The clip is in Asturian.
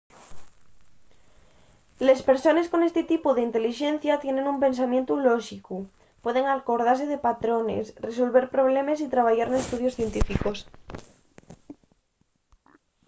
les persones con esti tipu d'intelixencia tienen un pensamientu lóxicu pueden acordase de patrones resolver problemes y trabayar n'estudios científicos